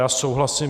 Já souhlasím.